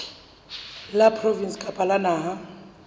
la provinse kapa la naha